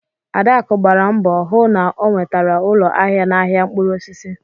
Adaku gbara mbọ hụ na o nwetara ụlọ ahịa n'ahiá mkpụrụ osisi